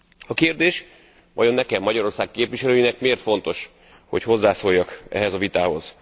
A kérdés vajon nekem, Magyarország képviselőjének miért fontos, hogy hozzászóljak ehhez a vitához?